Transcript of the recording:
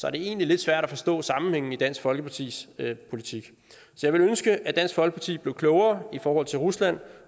er det egentlig lidt svært at forstå sammenhængen i dansk folkepartis politik jeg ville ønske at dansk folkeparti blev klogere i forhold til rusland